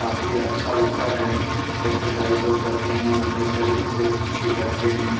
काफी अच्छा लगता है एक्सरसाइज लोग करते है और अपने शरीर को फिट रखते है।